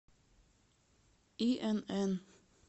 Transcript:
инн